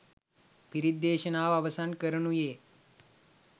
පිරිත් දේශනාව අවසන් කරනුයේ